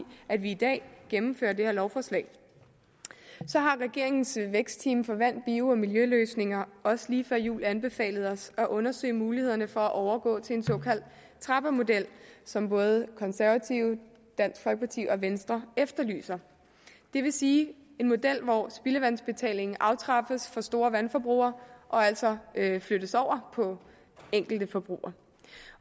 at vi i dag gennemfører det her lovforslag så har regeringens vækstteam for vand bio og miljøløsninger også lige før jul anbefalet os at undersøge mulighederne for at overgå til en såkaldt trappemodel som både konservative dansk folkeparti og venstre efterlyser det vil sige en model hvor spildevandsbetalingen aftrappes for store vandforbrugere og altså flyttes over på enkelte forbrugere